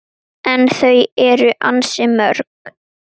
En þau eru ansi mörg